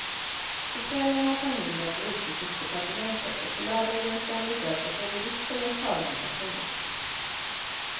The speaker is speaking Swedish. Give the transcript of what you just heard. På kvällen åt han middag på utrikesdepartementet och på lördagen ska han besöka både riksdagens talman och kungen.